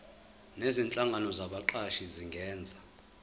nezinhlangano zabaqashi zingenza